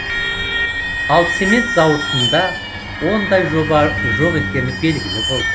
ал цемент зауытында ондай жоба жоқ екені белгілі болды